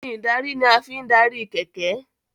Irin ìdarí ní a fín darí kẹ̀kẹ́.